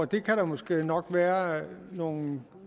det kan der måske nok være nogle